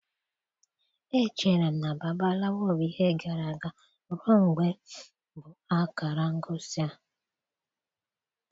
Echere m na Babalawo bụ ihe gara aga ruo mgbe m bụ akara ngosi a.